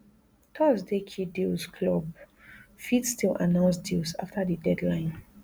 thursday key deals clubs fit still announce deals afta di deadline